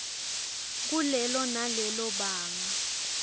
kulelo nalelo banga